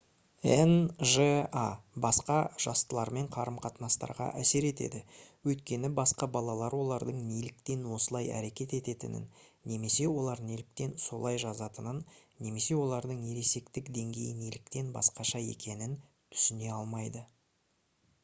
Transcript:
нжа басқа жастылармен қарым-қатынастарға әсер етеді өйткені басқа балалар олардың неліктен осылай әрекет ететінін немесе олар неліктен солай жазатынын немесе олардың ересектік деңгейі неліктен басқаша екенін түсіне алмайды